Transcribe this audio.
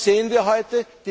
Und was sehen wir heute?